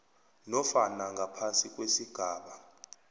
nofana ngaphasi kwesigaba